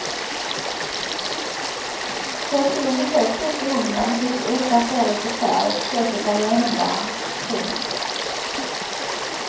Sätt in högt upp i ugnen tills ytan får lite färg och köttet är genomvarmt. punkt